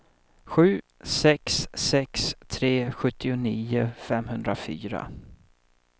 sju sex sex tre sjuttionio femhundrafyra